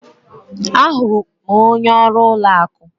A jụrụ m onye ọrụ ụlọ akụ.